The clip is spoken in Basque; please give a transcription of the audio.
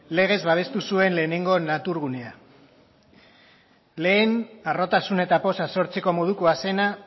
legez babestu zuen lehenengo natur gunea lehen harrotasun eta poza sortzeko modukoa zena